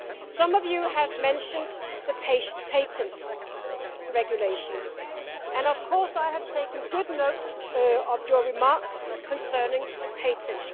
Some of you have mentioned the Patent Regulation and of course I have taken good note of your remarks concerning the patent.